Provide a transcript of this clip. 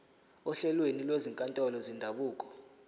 ohlelweni lwezinkantolo zendabuko